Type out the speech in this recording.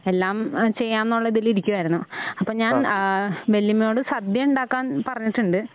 എല്ലാം ഏഹ് ചെയ്യാനുള്ള ഇതിലിരിക്കുവായായിരുന്നു. അപ്പോ ഞാൻ ആ വല്ല്യമ്മയോട് സദ്യ ഉണ്ടാക്കാൻ പറഞ്ഞിട്ടുണ്ട്.